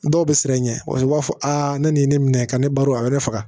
Dɔw bɛ siran i ɲɛ u b'a fɔ a ne nin ye ne minɛ ka ne baro a yɛrɛ faga